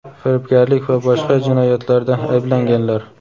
firibgarlik va boshqa jinoyatlarda ayblanganlar.